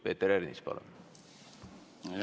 Peeter Ernits, palun!